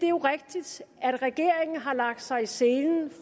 er rigtigt at regeringen har lagt sig i selen